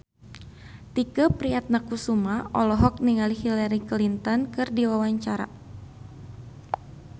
Tike Priatnakusuma olohok ningali Hillary Clinton keur diwawancara